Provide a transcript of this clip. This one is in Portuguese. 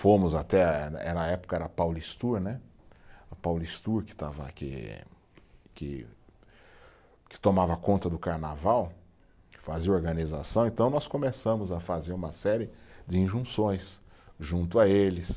Fomos até, era a época, era a Paulistur né, a Paulistur que estava que, que, que tomava conta do carnaval, que fazia organização, então nós começamos a fazer uma série de injunções junto a eles.